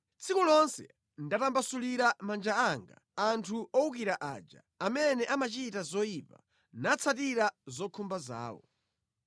Tsiku lonse ndatambasulira manja anga anthu owukira aja, amene amachita zoyipa, natsatira zokhumba zawo.